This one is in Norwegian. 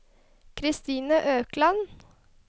Christine Økland